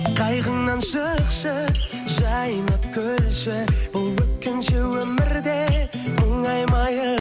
қайғыңнан шықшы жайнап күлші бұл өткінші өмірде